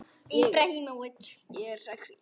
Auður systir er fallin frá.